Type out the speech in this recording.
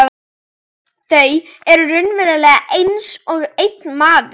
Þau eru raunverulega einsog einn maður.